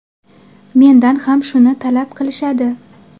Mendan ham shuni talab qilishadi.